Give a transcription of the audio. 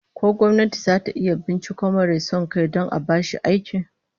Ko gwamnati zata iya binciko marai son kai don a bashi aikin?